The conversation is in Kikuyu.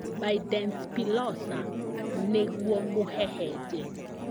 Bindenspilosa nĩguo mũhehenje